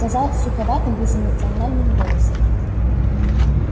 сказал суховатым безэмоциональным голосом